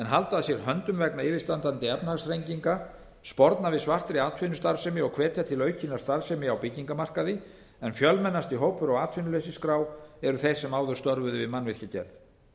halda að sér höndum vegna yfirstandandi efnahagsþrenginga sporna við svartri atvinnustarfsemi og hvetja til aukinnar starfsemi á byggingarmarkaði en fjölmennasti hópur á atvinnuleysisskrá eru þeir sem áður störfuðu við mannvirkjagerð